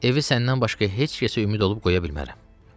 Evi səndən başqa heç kəsə ümid olub qoya bilmərəm.